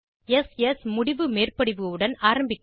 s ஸ் முடிவு மேற்படிவு உடன் ஆரம்பிக்கலாம்